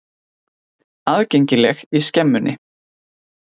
Aðgengileg í Skemmunni.